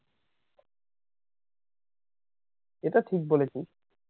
এটা ঠিক বলেছিস